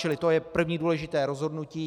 Čili to je první důležité rozhodnutí.